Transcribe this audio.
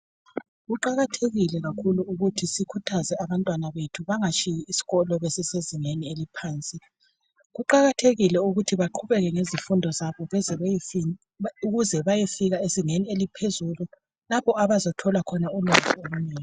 Kuqakathekile kakhulu ukuthi abantwana bethu bengayeki isikolo besesezingeni eliphansi kuqakathekile ukuthi baqhubeke ngezifundo zabo ukuze bayefika ezingeni eliphezulu lapho abaza thola khona umsebenzi.